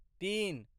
तीन